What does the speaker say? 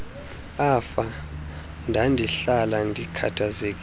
afa ndandihlala ndikhathazekile